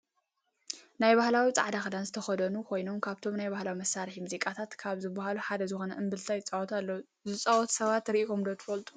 ናይ ባህላዊ ፃዕዳ ክዳን ዝተከደኑ ኮይኖም ካብቶም ናይ ባህላዊ መሳርሒ ሙዚቃታት ካብ ዝብሃሉ ሓደ ዝኮነ እምብልታ ይፀወቱ ኣለው። ዝፃወቱ ሰባት ርኢኩም ዶ ትፈልጡ?